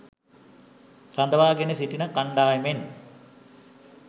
රඳවා ගෙන සිටින කණ්ඩායමෙන්